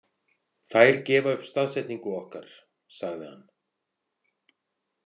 Þær gefa upp staðsetningu okkar, sagði hann.